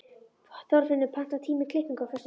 Þorfinnur, pantaðu tíma í klippingu á föstudaginn.